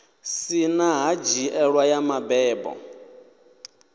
si na ṱhanziela ya mabebo